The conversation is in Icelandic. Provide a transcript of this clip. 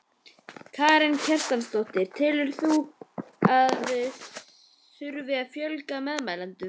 Karen Kjartansdóttir: Telur þú að það þurfi að fjölga meðmælendum?